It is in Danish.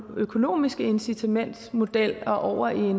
den økonomiske incitamentsmodel og over i